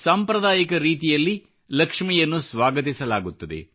ಸಾಂಪ್ರದಾಯಿಕ ರೀತಿಯಲ್ಲಿ ಲಕ್ಷ್ಮಿಯನ್ನು ಸ್ವಾಗತಿಸಲಾಗುತ್ತದೆ